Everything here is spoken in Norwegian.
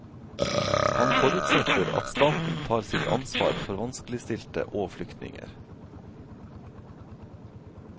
Han forutsetter at staten tar sitt ansvar for vanskeligstilte og flyktninger.